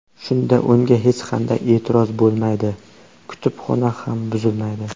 Shunda unga hech qanday e’tiroz bo‘lmaydi, kutubxona ham buzilmaydi.